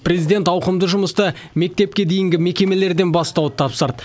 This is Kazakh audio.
президент ауқымды жұмысты мектепке дейінгі мекемелерден бастауды тапсырды